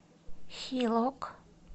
хилок